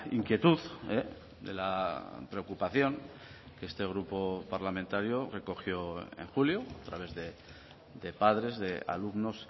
inquietud de la preocupación que este grupo parlamentario recogió en julio a través de padres de alumnos